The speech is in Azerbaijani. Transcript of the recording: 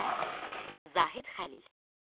Və Zahid Xəlil.